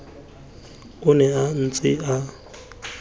o ne a ntse a